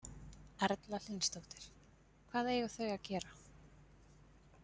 Erla Hlynsdóttir: Hvað eiga þau að gera?